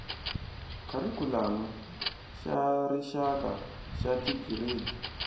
kharikhulamu xa rixaka xa tigiredi